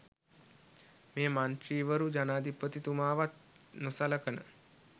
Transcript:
මේ මන්ත්‍රීවරු ජනාධිපතිතුමාවත් නොසලකන